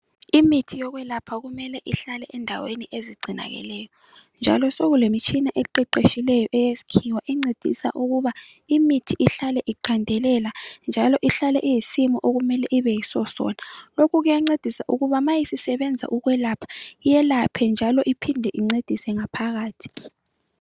Imithi yokwelapha kumele ihlale endaweni ezigcinakeleyo, njalo sokulemitshina eqeqetshileyo eyeskhiwa encedisa ukuba imithi ihlale iqandelela njalo ihlale iyisimo okumele ibe yiso sona. Lokhu kuyancedisa ukuba ma isisebenza ukwelapha yelaphe njalo iphinde incedise ngaphakathi.